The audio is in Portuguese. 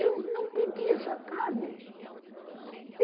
Eu não pedi essa carne.